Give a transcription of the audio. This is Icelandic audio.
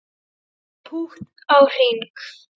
Pútt á hring